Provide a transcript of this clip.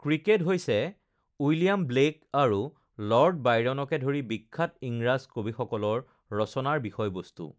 cricket হৈছে William Blake আৰু lord বাইৰণকে ধৰি বিখ্যাত ইংৰাজ কবিসকলৰ ৰচনাৰ বিষয়বস্তু৷